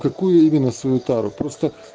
какую именно свою тару просто